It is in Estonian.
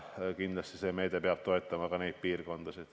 Kindlasti peab see meede toetama ka seda piirkonda.